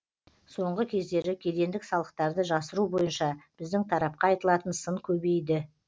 соңғы кездері кедендік салықтарды жасыру бойынша біздің тарапқа айтылатын сын көбейді